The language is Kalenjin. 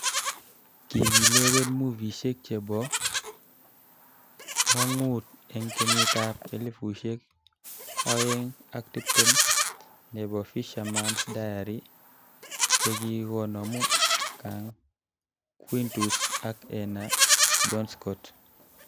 Kokilewen movishek chebo ngwan'gut eng kenyit ab 2020 nebo Fisherman's Diary chekinomu Kang Quintus ak Enah Johnscott,